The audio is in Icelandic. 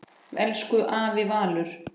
Elsku afi Valur.